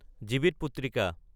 Jivitputrika